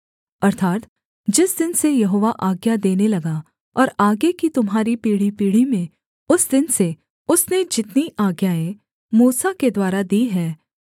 अर्थात् जिस दिन से यहोवा आज्ञा देने लगा और आगे की तुम्हारी पीढ़ीपीढ़ी में उस दिन से उसने जितनी आज्ञाएँ मूसा के द्वारा दी हैं